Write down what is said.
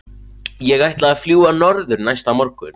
Ég ætlaði að fljúga norður næsta morgun.